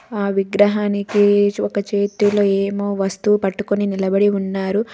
ఆ విగ్రహానికి ఒక చేతిలో ఏమో వస్తువు పట్టుకొని నిలబడి ఉన్నారు.